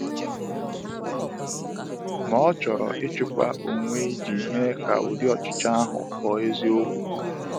Ma ọ chọrọ ịchịkwa onwe iji mee ka ụdị ọchịchọ ahụ ghọọ eziokwu.